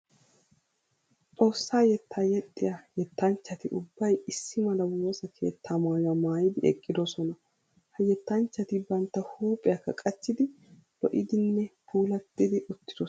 Xoossa yetta yexxiya yettanchchati ubbay issi mala woosa keetta maayuwa maayiddi eqqidosona. Ha yettanchchati bantta huuphiyakka qachidi lo'idinne puulatidi uttidosona.